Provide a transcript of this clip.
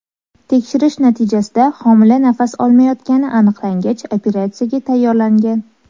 Tekshirish natijasida homila nafas olmayotgani aniqlangach, operatsiyaga tayyorlangan.